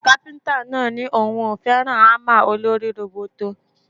Kápíntà náà ní òun ò fẹ́ràn ámà olórí róbótó